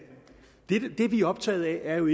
det vi er optaget af jo